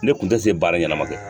Ne kun tɛ se baara ɲɛnama kɛ.